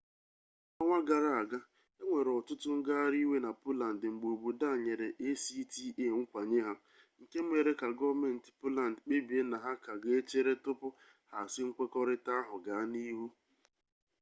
n'ọnwa gara aga enwere ọtụtụ ngagharị iwe na poland mgbe obodo a nyere acta nkwenye ha nke mere ka gọọmenti poland kpebie na ha ka ga-echere tupu ha asị nkwekọrịta ahụ gaa n'ihu